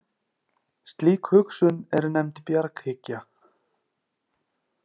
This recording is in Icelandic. Slík hugsun er nefnd bjarghyggja.